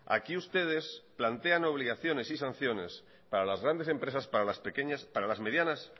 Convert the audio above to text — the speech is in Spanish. aquí ustedes plantean obligaciones y sanciones para las grandes empresas para las pequeñas para las medianas